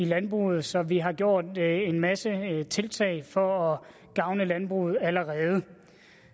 landbruget så vi har gjort en masse tiltag for at gavne landbruget allerede